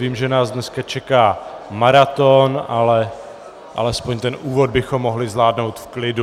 Vím, že nás dneska čeká maraton, ale alespoň ten úvod bychom mohli zvládnout v klidu.